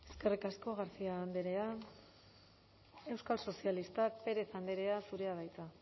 eskerrik asko garcia andrea euskal sozialistak pérez andrea zurea da hitza